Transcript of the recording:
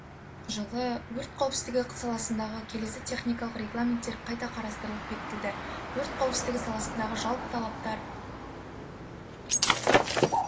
жылы өрт қауіпсіздігі саласындағы келесі техникалық регламенттер қайта қарастырылып бекітілді өрт қауіпсіздігі саласындағы жалпы талаптар